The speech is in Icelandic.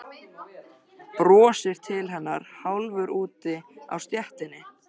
Brosir til hennar hálfur úti á stéttinni.